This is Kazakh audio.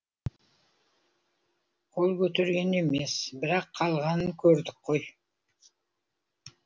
қол көтерген емес бірақ қалғанын көрдік қой